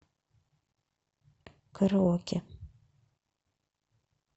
караоке